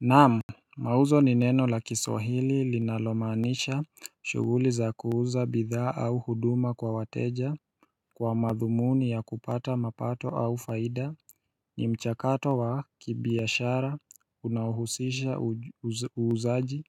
Naamu mauzo ni neno la kiswahili linalomanisha shuguli za kuuza bidhaa au huduma kwa wateja kwa madhumuni ya kupata mapato au faida ni mchakato wa kibiashara unahusisha uuzaji